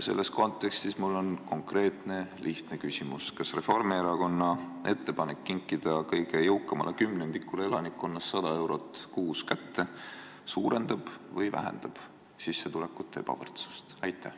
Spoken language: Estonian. Selles kontekstis on mul konkreetne ja lihtne küsimus: kas Reformierakonna ettepanek kinkida kõige jõukamale kümnendikule elanikkonnast 100 eurot kuus suurendab või vähendab sissetulekute ebavõrdsust?